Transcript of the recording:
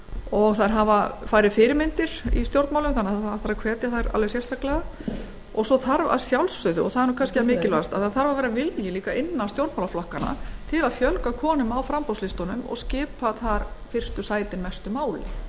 og þær hafa færri fyrirmyndir í stjórnmálum þannig að það þarf að hvetja þær alveg sérstaklega svo þarf að sjálfsögðu og það er kannski það mikilvægasta að vera vilji innan stjórnmálaflokkanna til að fjölga konum á framboðslistunum og skipta þar fyrstu sætin mestu